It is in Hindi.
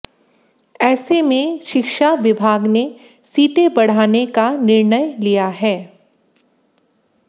ऐसे में शिक्षा विभाग ने सीटें बढ़ाने का निर्णय लिया है